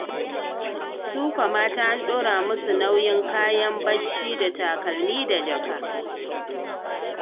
Su kwa mata an ɗora musu nauyin haɗa kayan bacci da takalma da jaka.